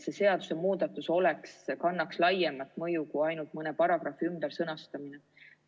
See seadusemuudatus peaks kandma laiemat mõju kui ainult mõne paragrahvi ümbersõnastamine.